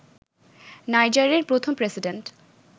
নাইজারের প্রথম প্রেসিডেন্ট